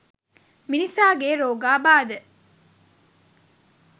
මිනිසාගේ රෝගාබාධ